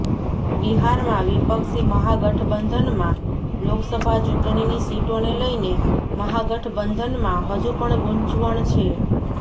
બિહારમાં વિપક્ષી મહાગઠબંધનમાં લોકસભા ચૂંટણીની સીટોને લઈને મહાગઠબંધનમાં હજુ પણ ગૂંચવણ છે